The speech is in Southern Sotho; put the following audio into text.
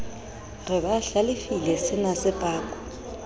re ba hlalefile senase pakwa